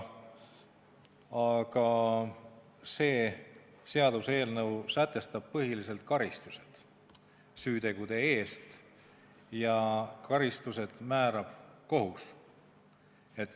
Aga see seaduseelnõu sätestab põhiliselt karistused süütegude eest ja karistused määrab kohus.